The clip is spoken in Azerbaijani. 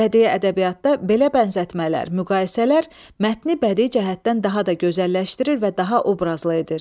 Bədii ədəbiyyatda belə bənzətmələr, müqayisələr mətni bədii cəhətdən daha da gözəlləşdirir və daha obrazlı edir.